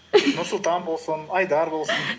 нұрсұлтан болсын айдар болсын